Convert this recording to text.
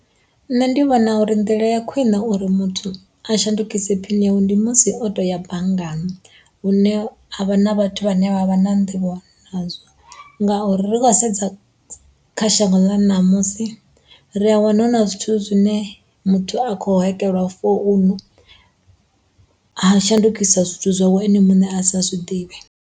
Nṋe ndi vhona uri nḓila ya khwiṋe uri muthu a shandukise phini yawe ndi musi o toya banngani hune ha vha na vhathu vhane vha vha na nḓivho nazwo ngauri ri khou sedza kha shango ḽa ṋamusi ri a wana hu na zwithu zwine muthu a khou hekelwa founu ha shandukiswa zwithu zwawe ene muṋe a sa zwiḓivhe.